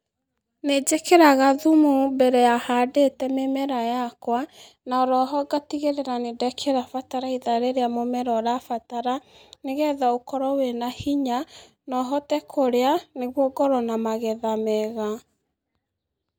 Nĩnjĩkĩraga thumu mbere ya handĩte mĩmera yakwa na oroho ngatigirĩra nĩndekĩra bataraitha rĩrĩa mũmera ũrabatara nĩgetha ũkorwo wĩna hinya na ũhote kũrĩa nĩguo ũkorwo na magetha mega.